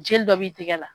Jeli dɔ b'i tɛgɛ la